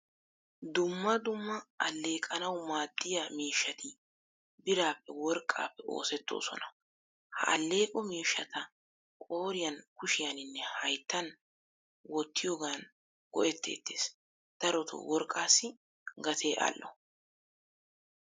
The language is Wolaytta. Dumma dumma alleqanawu maadiyaa miishshati birappe worqqappe oosettoosona. Ha alleqqo miishshata qoriyan, kushiyaninne hayttan wottiyogan go'ettetees. Darotto worqqasi gatee al'o.